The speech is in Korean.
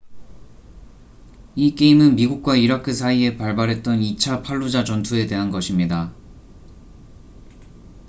이 게임은 미국과 이라크 사이에 발발했던 2차 팔루자 전투에 대한 것입니다